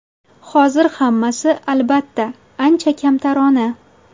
Hozir hammasi, albatta, ancha kamtarona.